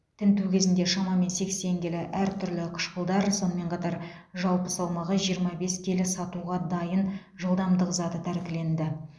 тінту кезінде шамамен сексен келі әртүрлі қышқылдар сонымен қатар жалпы салмағы жиырма бес келі сатуға дайын жылдамдық заты тәркіленді